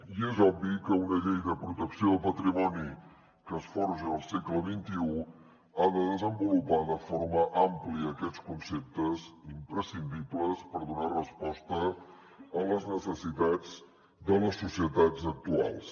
i és obvi que una llei de protecció del patrimoni que es forja al segle xxi ha de desenvolupar de forma àmplia aquests conceptes imprescindibles per donar resposta a les necessitats de les societats actuals